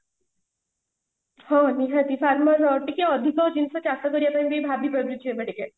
ହଁ ନିହାତି farmer ତ ଆଉ ଟିକେ ଅଧିକ ଜିନିଷ ଚାଷ କରିବା ପାଇଁ ବି ଭବିପାରୁଛି ଏବେ ଟିକେ